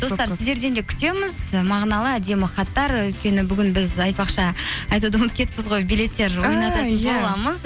достар сіздерден де күтеміз мағыналы әдемі хаттар өйткені бүгін біз айтпақшы айтуды ұмытып кетіппіз ғой билеттер